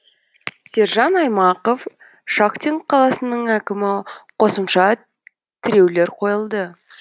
сержан аймақов шахтинск қаласының әкімі қосымша тіреулер қойылды